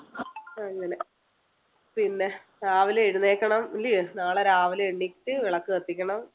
അങ്ങനെ പിന്നെ രാവിലെ എഴുന്നേൽക്കണം അല്ലയോ? നാളെ രാവിലെ എണീറ്റ് വിളക്ക് കത്തിക്കണം.